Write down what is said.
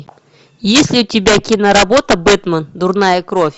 есть ли у тебя киноработа бэтмен дурная кровь